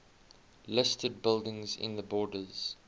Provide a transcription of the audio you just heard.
listed buildings in the borders